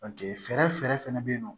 fɛɛrɛ fɛnɛ be yen nɔ